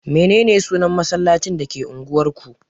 Mene ne sunan masallacin da ke unguwar ku?